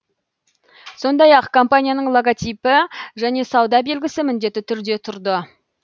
сондай ақ компанияның логотипі және сауда белгісі міндетті түрде тұрды